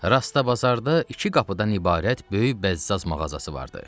Rastda bazarda iki qapıdan ibarət böyük bəzzaz mağazası vardı.